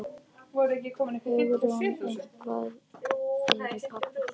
Hugrún: Eitthvað fyrir pabba kannski?